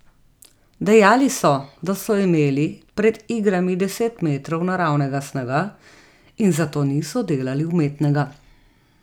Dejali so, da so imeli pred igrami deset metrov naravnega snega in zato niso delali umetnega.